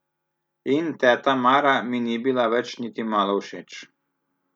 In teta Mara mi ni bila več niti malo všeč.